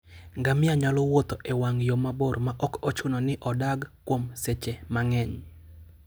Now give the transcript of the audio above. Ngamia nyalo wuotho e wang' yo mabor maok ochuno ni odag kuom seche mang'eny.